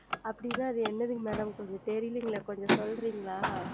அப்படி என்றால் அது என்னது Madam கொஞ்சம் தெரியலையே கொஞ்சம் சொல்லுகிறீர்களா